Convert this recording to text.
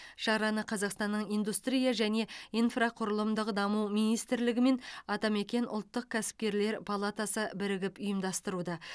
шараны қазақстанның индустрия және инфрақұрылымдық даму министрлігі мен атамекен ұлттық кәсіпкерлер палатасы бірігіп ұйымдастыруда